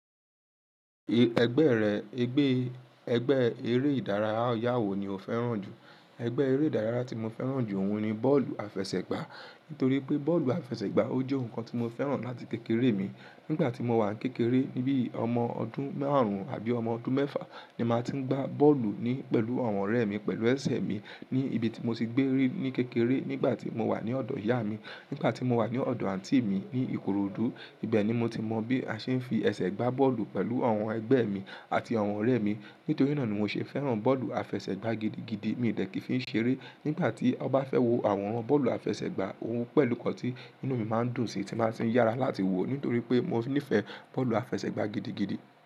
Ègbé rẹ, ègbé, ègbé eré ìdárayá wo ni o fẹ́ràn jù? Ẹgbẹ́ eré ìdárayá tí mo fẹ́ràn jù ọhun ni bọ́ọ̀lù àfẹsẹ̀gbá. Nítorí pé bọ́ọ̀lù àfẹsẹ̀gbá, ó jẹ́ nǹkan tí mo fẹ́ràn láti kékeré mi. Nígbà tí mo wà ń kékeré, níbí ọmọ ọdún márùn-ún àbí ọmọ ọdún mẹ́fà ni màá tí ń gba bọ́ọ̀lù ní pẹ̀lú àwọn ọ̀rẹ́ mi, pẹ̀lú ẹsẹ̀ mi ní ibi tí mo ti gbé rí ní kékeré, nígbà tí mo wà ní ọ̀dọ̀ ìyá mi, nígbà tí mo wà ní ọ̀dọ̀ àǹtí mi ní Ìkòròdú. Ibẹ̀ ni mo ti mọ bí a ṣe ń fi ẹsẹ̀ gbá bọ́ọ̀lù pẹ̀lú àwọn ẹgbẹ́ mi àti àwọn ọ̀rẹ́ mi. Nítorí náà ni mo ṣe fẹ́ràn bọ́ọ̀lù àfẹsẹ̀gbá gidigidi. Mi dẹ̀ kí ń fi ṣeré. Nígbà tí ọ bá fẹ́ wo àwọnran bọ́ọ̀lù àfẹsẹ̀gbá, òun pẹ̀lú kàn tí inú mi má ń dùn sí, tí màá ti ń yára láti wo, nítorí pé mo níìfẹ̀ẹ́ bọ́ọ̀lù àfẹsẹ̀gbá gidigidi.